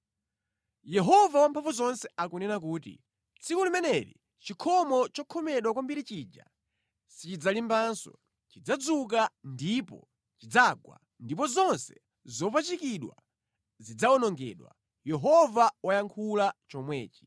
“Yehova Wamphamvuzonse akunena kuti, ‘Tsiku limeneli chikhomo chokhomedwa kwambiri chija sichidzalimbanso; chidzazuka ndipo chidzagwa ndipo zonse zopachikidwa zidzawonongedwa.’ ” Yehova wayankhula chomwechi.